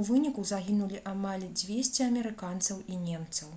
у выніку загінулі амаль 200 амерыканцаў і немцаў